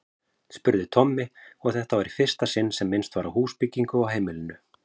spurði Tommi, og þetta var í fyrsta sinn sem minnst var á húsbyggingu á heimilinu.